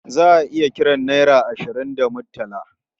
Za a iya kiran naira ashirin da murtala.